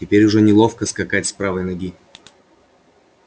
теперь уже неловко скакать с правой ноги